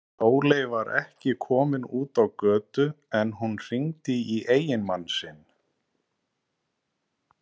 Sóley var ekki fyrr komin út á götu en hún hringdi í eiginmann sinn.